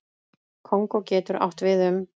Kongó getur átt við um